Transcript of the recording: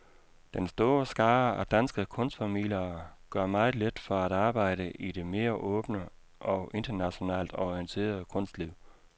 Den store skare af danske kunstformidlere gør meget lidt for at arbejde i det mere åbne og internationalt orienterede kunstliv.